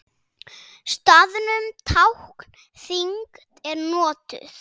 Staðnum tákn þyngd er notuð.